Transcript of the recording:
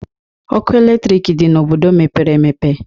Ọkụ eletrik dị n'obodo mepere emepe